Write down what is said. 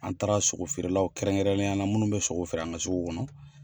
An taara sogo feerelaw kɛrɛnkɛrɛnneyala minnu bɛ sogo feere an ka sugu kɔnɔ.